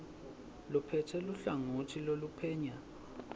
lophetse luhlangotsi loluphenya